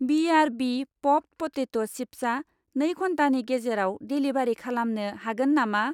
BRB. Popped potato चिप्सआ नै घन्टानि गेजेराव देलिभारि खालामनो हागोन नामा?